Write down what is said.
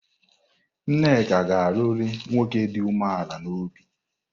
Nneka ga-alụrụ nwoke dị umeala n'obi.